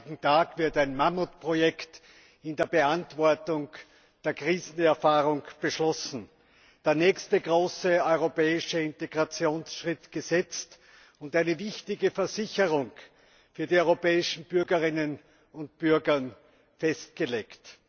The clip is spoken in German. Am heutigen Tag wird ein Mammutprojekt in der Beantwortung der Krisenerfahrungen beschlossen, der nächste große europäische Integrationsschritt gesetzt und eine wichtige Versicherung für die europäischen Bürgerinnen und Bürger festgelegt.